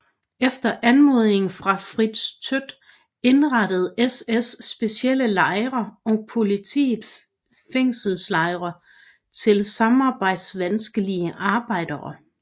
Efter anmodning fra Fritz Todt indrettede SS specielle lejre og politiet fængselslejre til samarbejdsvanskelige arbejdere